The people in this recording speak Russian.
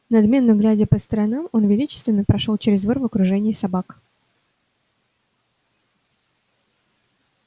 надменно глядя по сторонам он величественно прошёл через двор в окружении собак